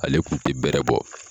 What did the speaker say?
Ale kun tɛ bɛrɛ bɔ.